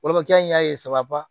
Wolomakɛ in y'a ye saba